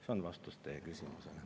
See on vastus teie küsimusele.